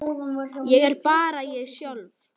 Ég er bara ég sjálf.